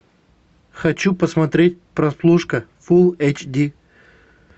хочу посмотреть прослушка фул эйч ди